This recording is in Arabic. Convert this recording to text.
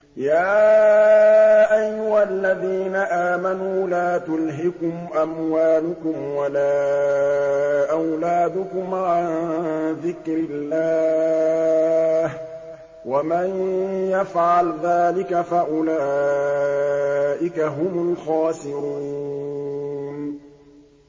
يَا أَيُّهَا الَّذِينَ آمَنُوا لَا تُلْهِكُمْ أَمْوَالُكُمْ وَلَا أَوْلَادُكُمْ عَن ذِكْرِ اللَّهِ ۚ وَمَن يَفْعَلْ ذَٰلِكَ فَأُولَٰئِكَ هُمُ الْخَاسِرُونَ